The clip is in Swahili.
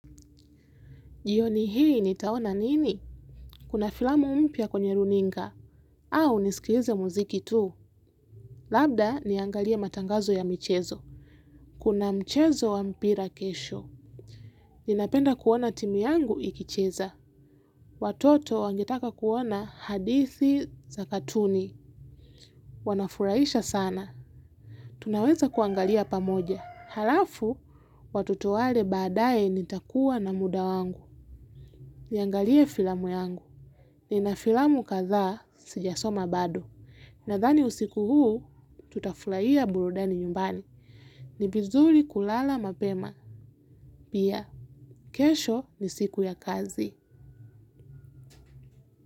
Jioni hii nitaona nini? Kuna filamu mpya kwenye runinga. Au nisikilize muziki tu? Labda niangalie matangazo ya michezo. Kuna mchezo wa mpira kesho. Ninapenda kuona timu yangu ikicheza. Watoto wangetaka kuona hadithi za katuni. Wanafurahisha sana tunaweza kuangalia pamoja halafu, watoto walale baadaye nitakuwa na muda wangu. Niangalie filamu yangu. Ninafilamu kadha sijasoma bado. Nadhani usiku huu, tutafurahia burudani nyumbani. Ni vizuri kulala mapema. Pia, kesho ni siku ya kazi.